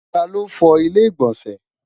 ta ló fo ilé igbọnsẹ?